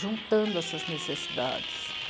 juntando essas necessidades.